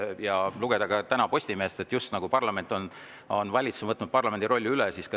Täna võis Postimehest lugeda, just nagu valitsus on võtnud parlamendi rolli üle.